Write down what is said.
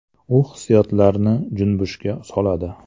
U hissiyotlarni junbishga soladi.